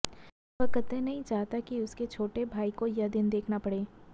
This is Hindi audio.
वह कतई नहीं चाहता कि उसके छोटे भाई को यह दिन देखना पड़े